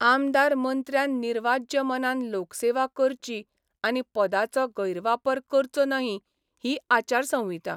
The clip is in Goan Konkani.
आमदार मंत्र्यान निर्वाज्य मनान लोकसेवा करची आनी पदाचो गैरवापर करचो नही ही आचारसंहिता.